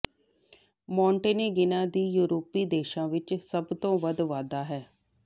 ਮੌਂਟੇਨੇਗਿਨਾਂ ਦੀ ਯੂਰਪੀ ਦੇਸ਼ਾਂ ਵਿੱਚ ਸਭ ਤੋਂ ਵੱਧ ਵਾਧਾ ਹੈ